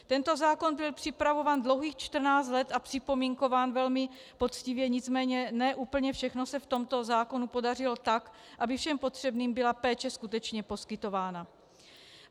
Tento zákon byl připravován dlouhých 14 let a připomínkován velmi poctivě, nicméně ne úplně všechno se v tomto zákonu podařilo tak, aby všem potřebným byla péče skutečně poskytována.